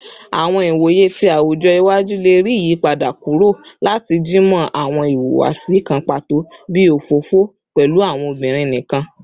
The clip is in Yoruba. Awọn iwoye ti awujọ iwaju le rii iyipada kuro lati jimọ awọn ihuwasi kan pato bii ofofo pẹlu awọn obinrin nikan